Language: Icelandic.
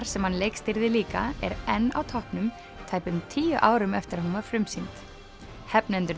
sem hann leikstýrði líka er enn á toppnum tæpum tíu árum eftir að hún var frumsýnd